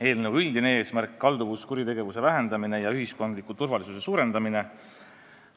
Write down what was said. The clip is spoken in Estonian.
Eelnõu üldine eesmärk on kalduvuskuritegevuse vähendamine ja ühiskondliku turvalisuse suurendamine.